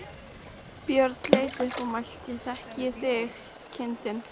Björn leit upp og mælti: Þekki ég þig, kindin?